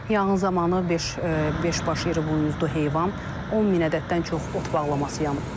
Yanğın zamanı beş beş baş iri buyuzdu heyvan, 10 min ədəddən çox ot bağlaması yanıb.